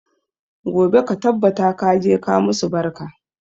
Gobe ka tabbata ka je ka musu barka!